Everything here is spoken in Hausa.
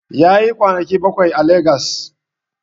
Yayi kwanaki bakwai a Legas